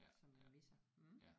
Som vi misser mh